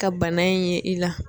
Ka bana in ye i la.